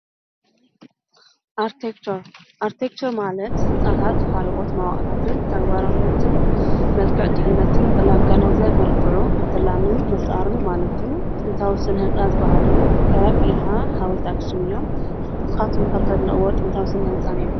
ኣርቲክቸር ኣርቲክቸር ማለት ህንፃታት ካልኦት መዋእላት ተግባራዊነትን መልክዕ ድሕንነትን ብምግንዛብ መልክዑ ምትላምን ምፍጣርን ማለት እዩ ፡፡ጥንታዊ ስነ-ህንፃ ዝባሃሉ ከም የሓ፣ ሓወልቲ ኣክሱም እዮም፡፡ ንስኻትኩም እተድንቕዋ ጥንታዊ ስነ-ህንፃ እኒኦ ዶ?